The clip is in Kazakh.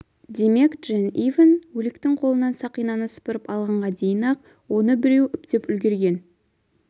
демек джен ивэн өліктің қолынан сақинаны сыпырып алғанға дейін-ақ оны біреу үптеп үлгерген